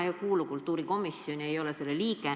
Mina ei kuulu kultuurikomisjoni, ei ole selle liige.